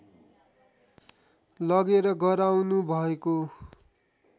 लगेर गराउनुभएको